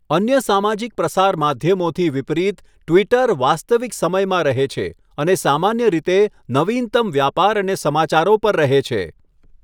અન્ય સામાજિક પ્રસાર માધ્યમોથી વિપરીત, ટ્વિટર વાસ્તવિક સમયમાં રહે છે અને સામાન્ય રીતે નવીનતમ વ્યાપાર અને સમાચારો પર રહે છે.